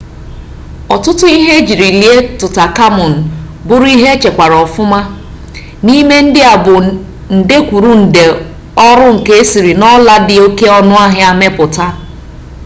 ọtụtụ ihe ejiri lie tụtankamun bụrụ ihe echekwara ọfụma n'ime ndị a bụ nde kwuru nde ọrụ nka esiri n'ọla dị oke ọnụ ahịa mepụta